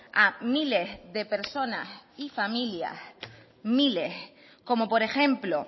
a miles de personas y familias como por ejemplo